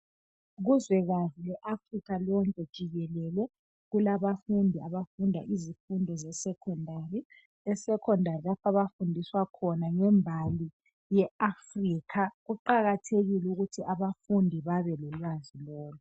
Kuzwekazi Afica lonke jikelele kulabafundi abafunda izifundo esecondary lapho abafundiswa khona ngembali yeAfrica kuqakathekile ukuthi abafundi bebelolwazi lolu.